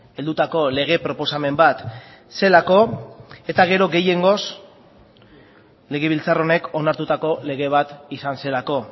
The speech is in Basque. heldutako lege proposamen bat zelako eta gero gehiengoz legebiltzar honek onartutako lege bat izan zelako